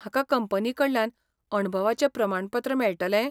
म्हाका कंपनीकडल्यान अणभवाचें प्रमाणपत्र मेळटलें?